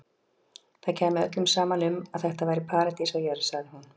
Það kæmi öllum saman um að þetta væri paradís á jörð, sagði hún.